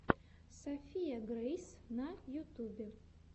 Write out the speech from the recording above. софия грейс на ютюбе